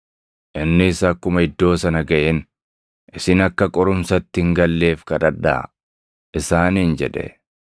Innis akkuma iddoo sana gaʼeen, “Isin akka qorumsatti hin galleef kadhadhaa” isaaniin jedhe.